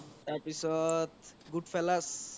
তাৰ পিছত good fellas